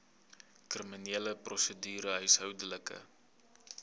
kriminele prosedure huishoudelike